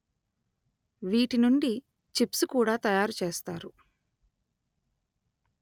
వీటినుండి chips కూడా తయారు చేస్తారు